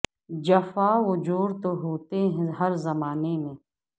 جفا و جور تو ہو تے ہیں ہر زما نے میں